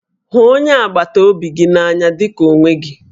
Hụ onye agbataobi gị n'anya dị ka onwe gị